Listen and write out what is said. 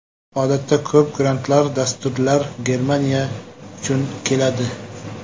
Odatda ko‘p grantlar, dasturlar Germaniya uchun keladi.